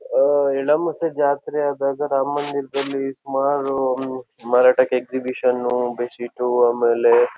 ಹೋಊ ಇಳ ಮಸೆ ಜಾತ್ರೆ ಆದಾಗ ರಾಮ ಮಂದಿರದಲ್ಲಿಸುಮಾರು ಹ್ಮ್ ಮಾರಾಟಕ್ಕೆ ಎಕ್ಸಿಬಿಷನ್ ಅನ್ನು ಬೆಡ್ ಶೀಟು ಆಮೇಲೆ--